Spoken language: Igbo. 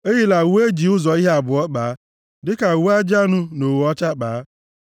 Eyila uwe e ji ụzọ ihe abụọ kpaa, dịka uwe ajị anụ na ogho ọcha kpaa.